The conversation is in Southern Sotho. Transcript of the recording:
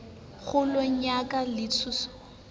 kgolong ya ka le tshiung